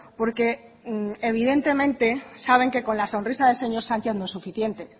porque evidentemente saben que con la sonrisa del señor sánchez no es suficiente